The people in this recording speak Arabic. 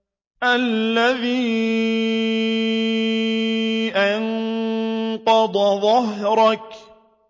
الَّذِي أَنقَضَ ظَهْرَكَ